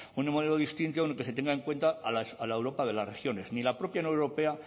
un modelo distinto en el que se tenga en cuenta a la europa de las regiones ni la propia unión europea